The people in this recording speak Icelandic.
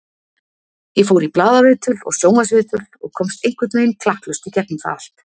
Ég fór í blaðaviðtöl og sjónvarpsviðtal og komst einhvern veginn klakklaust í gegnum það allt.